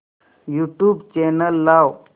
YouTube channel लाव